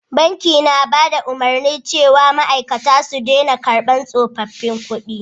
Banki ta bada umarni cewa ma'aikata su dena karban tsofaffin kudi